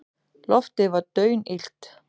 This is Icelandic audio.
Loftið var daunillt.